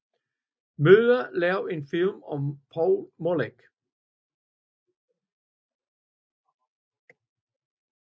Møller lave en film om Poul Molich